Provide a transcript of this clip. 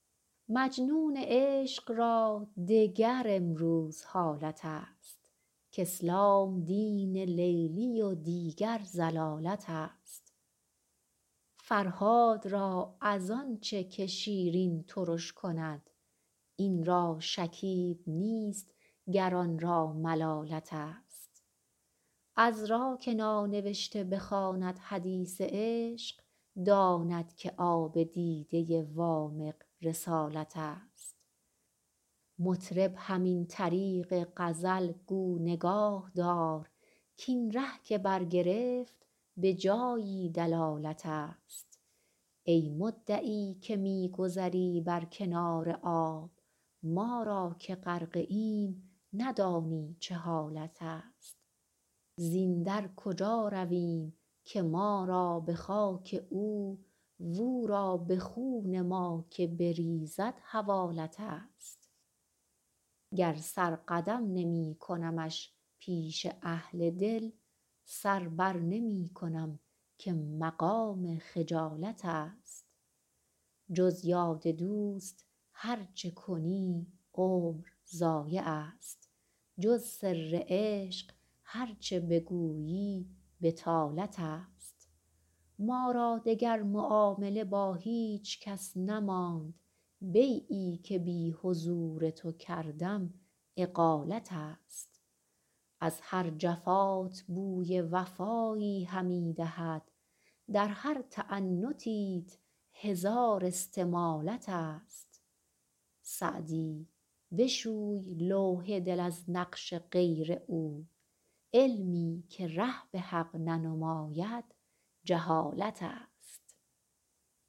مجنون عشق را دگر امروز حالت است کاسلام دین لیلی و دیگر ضلالت است فرهاد را از آن چه که شیرین ترش کند این را شکیب نیست گر آن را ملالت است عذرا که نانوشته بخواند حدیث عشق داند که آب دیده وامق رسالت است مطرب همین طریق غزل گو نگاه دار کاین ره که برگرفت به جایی دلالت است ای مدعی که می گذری بر کنار آب ما را که غرقه ایم ندانی چه حالت است زین در کجا رویم که ما را به خاک او و او را به خون ما که بریزد حوالت است گر سر قدم نمی کنمش پیش اهل دل سر بر نمی کنم که مقام خجالت است جز یاد دوست هر چه کنی عمر ضایع است جز سر عشق هر چه بگویی بطالت است ما را دگر معامله با هیچ کس نماند بیعی که بی حضور تو کردم اقالت است از هر جفات بوی وفایی همی دهد در هر تعنتیت هزار استمالت است سعدی بشوی لوح دل از نقش غیر او علمی که ره به حق ننماید جهالت است